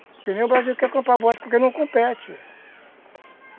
Porque nem o Brasil quer comprar borracha, porque não compete.